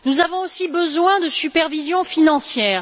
Nous avons aussi besoin de supervision financière.